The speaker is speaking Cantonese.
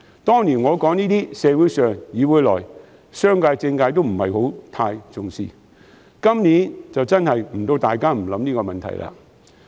當年我說這些，社會上、議會內，商界和政界均不太重視；到了今年，大家都不得不想這個問題了。